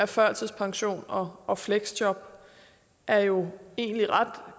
førtidspension og og fleksjob er jo egentlig ret